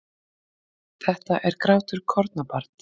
Þetta er grátur kornabarns.